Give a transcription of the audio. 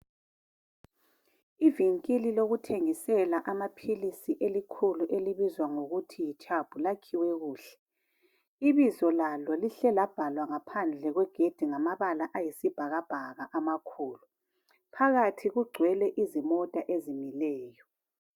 Ivinkili lokuthengisela amaphilisi elikhulu elibizwa ngokuthi yiChub lakhiwe kuhle. Ibizo lalo lihle labhalwa ngaphandle kwegedi ngamabala ayisibhakabhaka amakhulu. Phakathi kugcwele izimota ezimileyo.